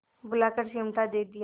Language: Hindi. बुलाकर चिमटा दे दिया